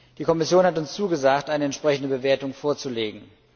Die Kommission hat zugesagt, eine entsprechende Bewertung vorzulegen.